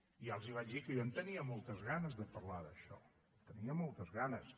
ja els vaig dir que jo en tenia moltes ganes de parlar d’això en tenia moltes ganes